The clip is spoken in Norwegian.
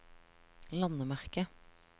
landemerke